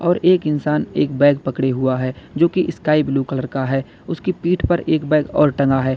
और एक इंसान एक बैग पकड़े हुआ है जो की स्काई ब्लू कलर का है उसकी पीठ पर एक बैग और टंगा है।